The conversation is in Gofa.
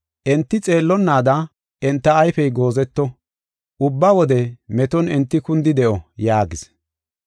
Enti xeellonnaada enta ayfey goozeto; ubba wode meton enti kuunidi de7o” yaagis.